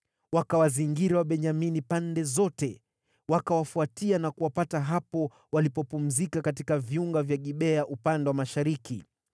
Wakawazingira Wabenyamini pande zote, wakawafuatia na kuwapata hapo walipopumzika katika viunga vya Gibea upande wa mashariki.